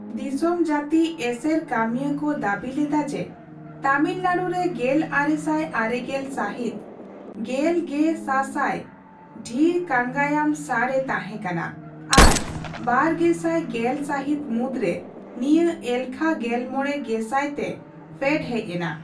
ᱫᱤᱥᱚᱢ ᱡᱟᱹᱛᱤ ᱮᱥᱮᱨ ᱠᱟᱹᱢᱤᱭᱟᱹᱠᱚ ᱫᱟᱹᱵᱤ ᱞᱮᱫᱟ ᱡᱮ ᱛᱟᱢᱤᱞᱱᱟᱰᱩ ᱨᱮ ᱜᱮᱞᱟᱨᱮᱥᱟᱭ ᱟᱨᱮᱜᱮᱞ ᱥᱟᱦᱤᱛ ᱜᱮᱞ ᱜᱮ ᱥᱟᱥᱟᱭ ᱰᱷᱤᱨ ᱠᱟᱝᱜᱟᱭᱟᱢ ᱥᱟᱸᱲ ᱮ ᱛᱟᱦᱮᱸᱠᱟᱱᱟ ᱟᱨ ᱵᱟᱨᱜᱮᱥᱟᱭ ᱜᱮᱞ ᱥᱟᱦᱤᱛ ᱢᱩᱫᱨᱮ ᱱᱤᱭᱟᱹ ᱮᱞᱠᱷᱟ ᱜᱮᱞᱢᱚᱲᱮ ᱜᱮᱥᱟᱭ ᱛᱮ ᱯᱷᱮᱰ ᱦᱮᱡ ᱮᱱᱟ᱾